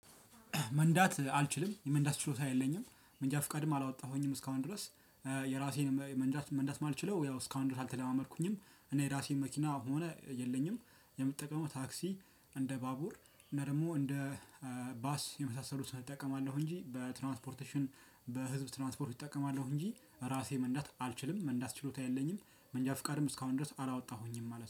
መንዳት አልችልም የመንዳት ችሎታ የለኝም መንጃ ፍቃድም አላወጣሁኝም እስካሁን ድረስ። እ የራሴን መንዳት መንዳት ማልችለው ያው እስካሁን ድረስ አልተለማመድኩኝም። እኔ የራሴን መኪና ሆነ የለኝም። የምጠቀመው ታክሲ እንደ ባቡር እና ደግሞ እንደ እ ባስ የመሳሰሉትን እጠቀማለሁ። እንጂ በትራንትፖርቴሽን በህዝብ ትራንስፖርት እጠቀማለሁ። እንጂ በራሴ መንዳት አልችልም መንዳት ችሎታ የለኝም። መንጃ ፍቃድም እስካሁን ድረስ አላወጣሁኝም ማለት ነው